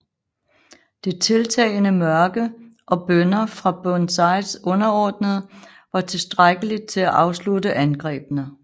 Det tiltagende mørke og bønner fra Burnsides underordnede var tilstrækkeligt til at afslutte angrebene